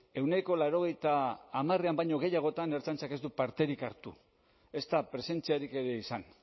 ehuneko laurogeita hamarrean baino gehiagotan ertzaintzak ez du parterik hartu ezta presentziarik ere izan